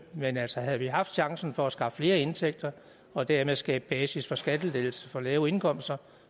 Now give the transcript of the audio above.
men altså havde vi haft chancen for at skaffe flere indtægter og dermed skabe basis for skattelettelser for lave indkomster